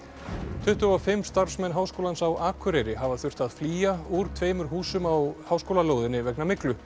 tuttugu og fimm starfsmenn Háskólans á Akureyri hafa þurft að flýja úr tveimur húsum á háskólalóðinni vegna myglu